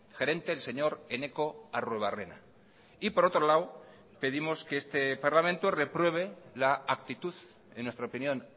gerente el señor eneko arruebarrena y por otro lado pedimos que este parlamento repruebe la actitud en nuestra opinión